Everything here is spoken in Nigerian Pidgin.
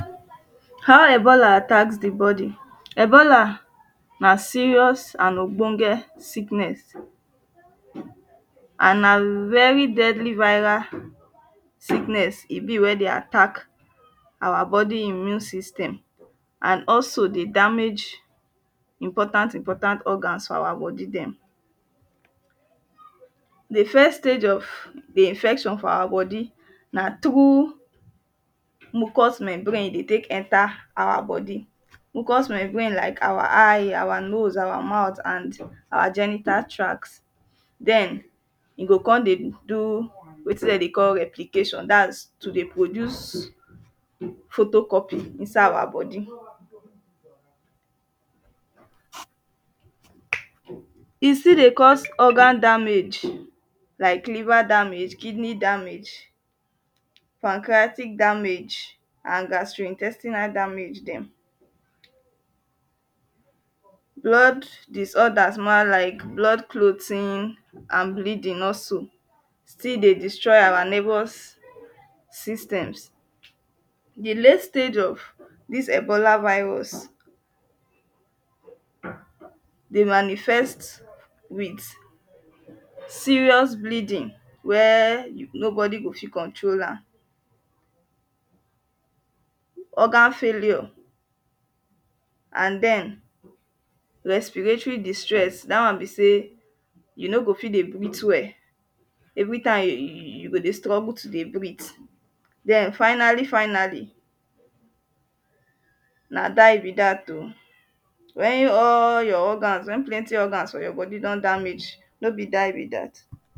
how Ebola attacks the body? Ebola na serious and ogbonge sickness an na very deadly viral sickness e be wey dey attack our body immune system an also dey damage important important organs for our body dem the first stage of the infection for our body na through mucus membrane e dey take enter our body. mucus membrane like our eye, our noses our mouth an our genital tracts then you go come dey do wetin dem dey call replication that is to dey produce photocopy inside our body e fit dey cause organ damage like liver damge, kidney damage pancreatic damage and gastrointestinal damage dem blood disorders mah like blood clothing and bleeding also still dey destroy our nervous system. the late stage of this ebola virus dey manifest with serious bleeding wey nobody go fit control am organ failure and then respiratory distress that one be sey, you no go fit dey breathe well everytime, you go dey struggle to dey breathe. then finally finally na die be that oh. when all your organs, when plenty organs for your body don damage, no be dies be that.